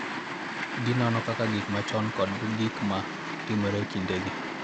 Ginono kaka gik machon kod gik ma timore e kindegi .